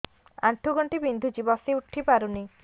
ଆଣ୍ଠୁ ଗଣ୍ଠି ବିନ୍ଧୁଛି ବସିଉଠି ପାରୁନି